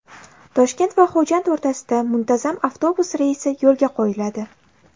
Toshkent va Xo‘jand o‘rtasida muntazam avtobus reysi yo‘lga qo‘yiladi.